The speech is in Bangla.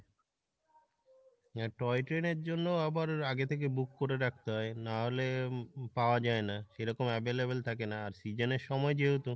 হ্যাঁ toy train এর জন্য আবার আগে থেকে book করে রাখতে হয় নাহলে পাওয়া যাই না সে রকম available থাকে না আর season এর সময় যেহেতু